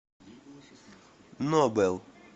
нобэл